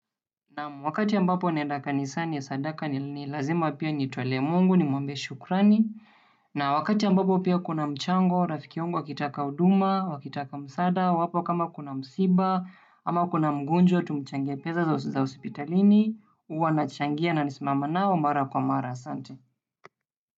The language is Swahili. Naam, wakati ambapo naenda kanisani ya sadaka ni lazima pia nitolee Mungu nimwambie shukrani. Na wakati ambapo pia kuna mchango, rafiki wangu akitaka huduma, wakitaka msaada wapo kama kuna msiba, ama kuna mgonjwa, tumchangie pesa za hospitalini, huwa na changia na nisimame nao, mara kwa mara, asante.